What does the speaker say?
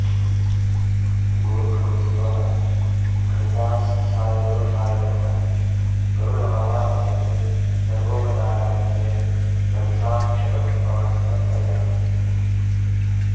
ॐ भूर्भुवः स्वः घण्टास्थाय गरुडाय नमः गरुडमावाहयामि सर्वोपचारार्थे गन्धाक्षतपुष्पाणि समर्पयामि